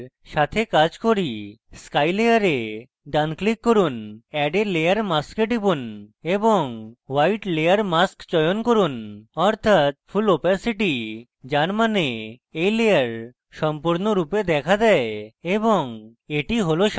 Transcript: sky layer ডান click করুন add a layer mask e টিপুন এবং white layer mask চয়ন করুন অর্থাৎ full opacity যার means এই layer সম্পূর্ণরূপে দেখা দেয় এবং that হল সাদা